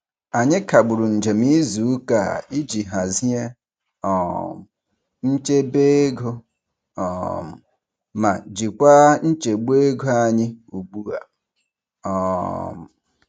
Anyị kagburu njem izuụka a iji hazie um nchebeego um ma jikwa nchegbu ego anyị ugbua. um